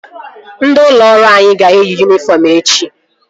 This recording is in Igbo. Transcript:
Ndị ụlọ ọrụ anyị ga-eyi yunifọm echi